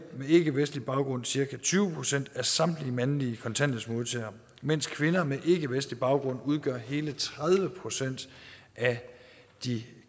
med ikkevestlig baggrund cirka tyve procent af samtlige mandlige kontanthjælpsmodtagere mens kvinder med ikkevestlig baggrund udgør hele tredive procent af de